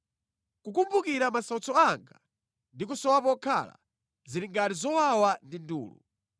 Kukumbukira masautso anga ndi kusowa pokhala, zili ngati zowawa ndi ndulu.